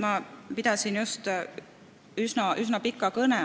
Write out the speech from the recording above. Ma pidasin just üsna pika kõne,